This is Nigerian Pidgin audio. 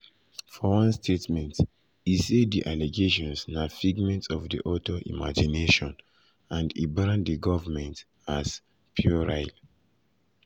for one statement e say di allegations na “figment of di author imagination” and e brand di government as “puerile”.